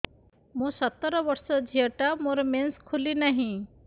ମୁ ସତର ବର୍ଷର ଝିଅ ଟା ମୋର ମେନ୍ସେସ ଖୁଲି ନାହିଁ